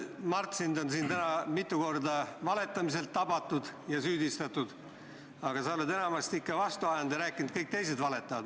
Mart, sind on siin täna mitu korda valetamiselt tabatud ja selles süüdistatud, aga sa oled enamasti ikka vastu ajanud ja rääkinud, et kõik teised valetavad.